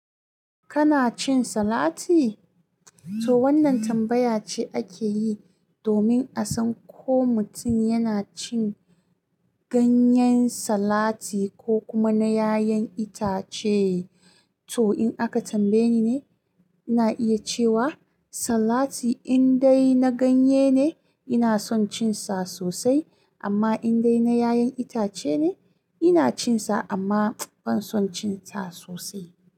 Kana cin salati? To wannan tambaya ce ake yi domin a san ko mutum yana cin ganyen salati ko kuma na 'ya'yan itace. To, in aka tambaye ni ne, ina iya cewa salati indai na ganye ne ina son cin sa sosai, amma indai na 'ya'yan itace ne ina cin sa amma ban son cin sa sosai.